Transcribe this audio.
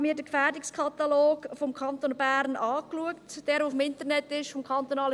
Ich habe mir den Gefährdungskatalog des KFO des Kantons Bern angeschaut, der im Internet verfügbar ist.